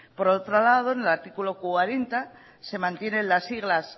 por otro lado en el artículo cuarenta se mantienen las siglas